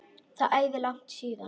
Það er æði langt síðan.